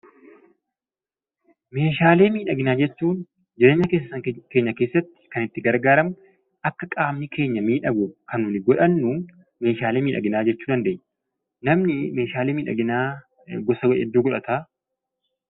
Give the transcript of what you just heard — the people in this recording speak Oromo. Meehaalee miidhagaa jechuun jireenya keenya keessatti kan itti gargaaramnu akka qaamni keenya miidhaguuf kan nuyi godhanuu meeshaalee miidhaginaa jechuu dandeenya. Namni meeshaalee miidhaginaa hedduu godhata.